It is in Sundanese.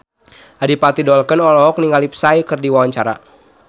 Adipati Dolken olohok ningali Psy keur diwawancara